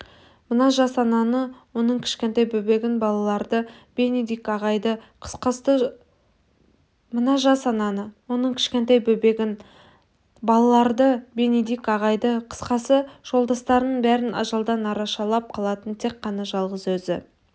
мына жас ананы оның кішкентай бөбегін балаларды бенедикт ағайды қысқасы жолдастарының бәрін ажалдан арашалап қалатын тек қана жалғыз өзі